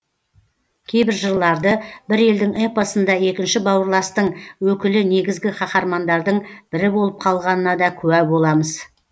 кейбір жырларды бір елдің эпосында екінші бауырластың өкілі негізгі қаһармандардың бірі болып қалғанына де куә боламыз